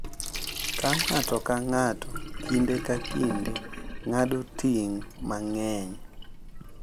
Ka ng’ato ka ng’ato kinde ka kinde ng’ado ting’ mang’eny,